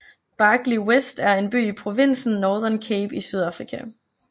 Barkly West er en by i provinsen Northern Cape i Sydafrika